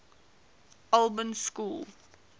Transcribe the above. albans school